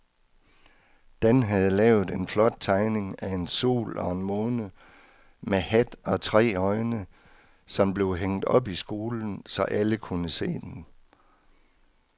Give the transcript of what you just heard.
Dan havde lavet en flot tegning af en sol og en måne med hat og tre øjne, som blev hængt op i skolen, så alle kunne se den.